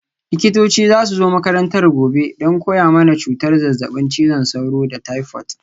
Likitoci za su zo makarantar gobe don koya mana cutar zazzabin cizon sauro da taifot.